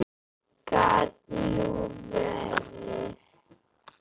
Gat nú verið.